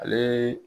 Ale